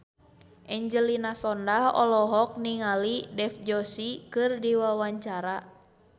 Angelina Sondakh olohok ningali Dev Joshi keur diwawancara